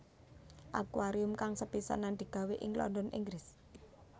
Akuarium kang sepisanan digawé ing London Inggris